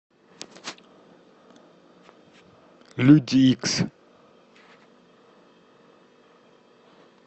люди икс